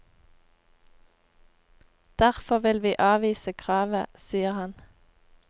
Derfor vil vi avvise kravet, sier han.